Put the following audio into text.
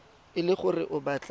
e le gore o batla